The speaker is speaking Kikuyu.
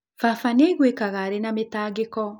Baba nĩ aiguikaga arĩ na mĩtangĩko.